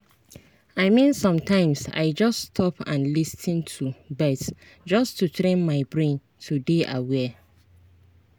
i mean sometimes i just stop and lis ten to birds just to train my brain to dey aware.